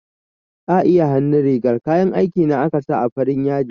A iya hannun rigar kayan aiki na aka sa farin yadi